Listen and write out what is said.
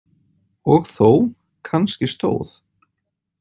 Og þó, kannski stóð